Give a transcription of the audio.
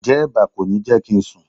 Ǹjẹ́ eba kò ní jẹ́ kí n sùn?